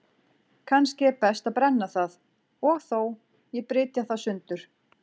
Kannski er best að brenna það, og þó, ég brytja það sundur.